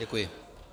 Děkuji.